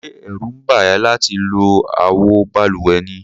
Ṣé ẹ̀rù ń bà ẹ́ láti lo àwo balùwẹ̀ ni?